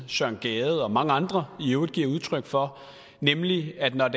søren gade og mange andre i øvrigt giver udtryk for nemlig at når